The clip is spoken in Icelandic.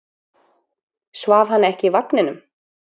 Svaf hann ekki í vagninum?